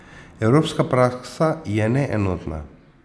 Evropska praksa je neenotna.